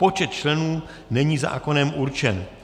Počet členů není zákonem určen.